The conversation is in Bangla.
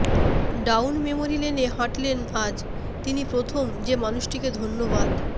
ডাউন মেমরি লেনে হাঁটলে আজ তিনি প্রথম যে মানুষটিকে ধন্যবাদ